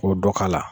K'o dɔ k'a la